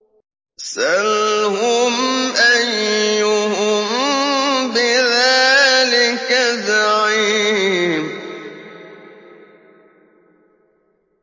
سَلْهُمْ أَيُّهُم بِذَٰلِكَ زَعِيمٌ